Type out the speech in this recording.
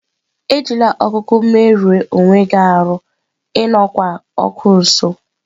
Ejila okụ me rue onweghi aru!, E nokwá okụ nso.